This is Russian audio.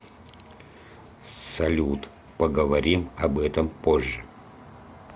салют поговорим об этом позже